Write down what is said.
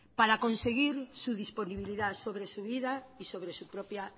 para conseguir su disponibilidad sobre su vida y sobre su propia